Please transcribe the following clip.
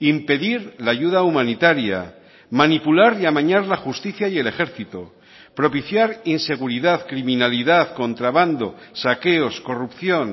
impedir la ayuda humanitaria manipular y amañar la justicia y el ejército propiciar inseguridad criminalidad contrabando saqueos corrupción